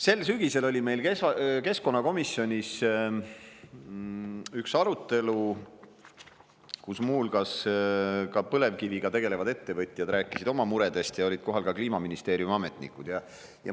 Sel sügisel oli meil keskkonnakomisjonis üks arutelu, kus muu hulgas ka põlevkiviga tegelevad ettevõtjad rääkisid oma muredest ja olid kohal ka Kliimaministeeriumi ametnikud.